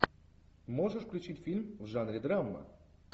можешь включить фильм в жанре драма